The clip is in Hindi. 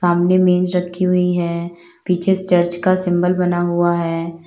सामने मेज रखी हुई है पीछे चर्च का सिंबल बना हुआ है।